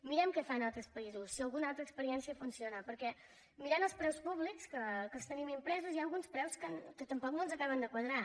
mirem què fan a altres països si alguna altra experiència funciona perquè mirant els preus públics que els tenim impresos hi ha alguns preus que tampoc no ens acaben de quadrar